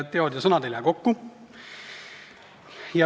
Teod ja sõnad ei lähe kokku.